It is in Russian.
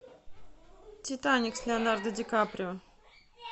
титаник с леонардо ди каприо